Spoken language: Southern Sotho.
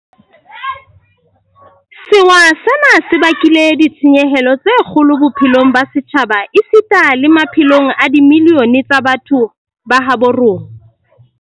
Sewa sena se bakile ditshenyehelo tse kgolo bophelong ba setjhaba esita le maphelong a dimilione tsa batho ba habo rona.